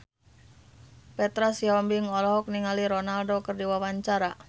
Petra Sihombing olohok ningali Ronaldo keur diwawancara